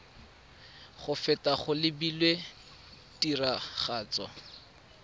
go feta go lebilwe tiragatso